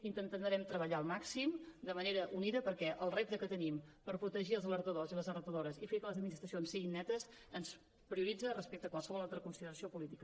intentarem treballar al màxim de manera unida perquè el repte que tenim per protegir els alertadors i les alertadores i fer que les administracions siguin netes ens prioritza respecte a qualsevol altra consideració política